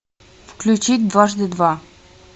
включить дважды два